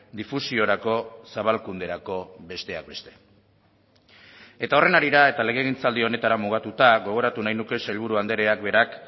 difusiorako zabalkunderako besteak beste eta horren harira eta legegintzaldi honetara mugatuta gogoratu nahi nuke sailburu andreak berak